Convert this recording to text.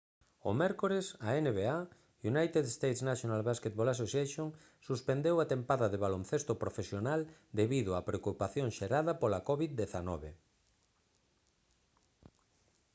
o mércores a nba united states' national basketball association suspendeu a tempada de baloncesto profesional debido á preocupación xerada pola covid-19